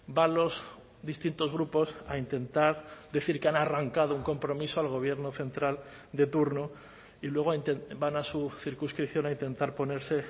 va a los distintos grupos a intentar decir que han arrancado un compromiso al gobierno central de turno y luego van a su circunscripción a intentar ponerse